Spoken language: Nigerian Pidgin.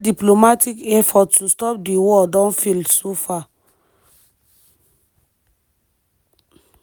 further diplomatic efforts to stop di war don fail so far.